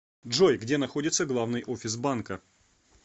джой где находится главный офис банка